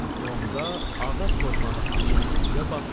Onda ağa torbanı açıb düyüyə baxdı,